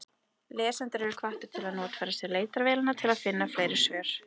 Lesendur eru hvattir til að notfæra sér leitarvélina til að finna fleiri svör.